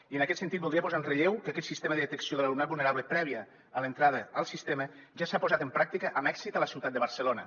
i en aquest sentit voldria posar en relleu que aquest sistema de detecció de l’alumnat vulnerable previ a l’entrada al sistema ja s’ha posat en pràctica amb èxit a la ciutat de barcelona